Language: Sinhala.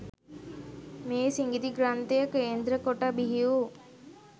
මේ සිඟිති ග්‍රන්ථය කේන්ද්‍ර කොට බිහි වූ